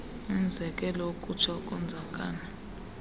umzekelo ukutsha ukonzakala